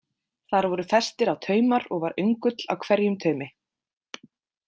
Þar voru festir á taumar og var öngull á hverjum taumi.